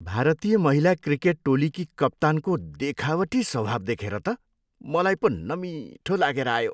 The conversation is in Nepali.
भारतीय महिला क्रिकेट टोलीकी कप्तानको देखावटी स्वभाव देखेर त मलाई पो नमिठो लागेर आयो।